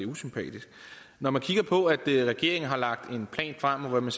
usympatisk når man kigger på at regeringen har lagt en plan frem hvor man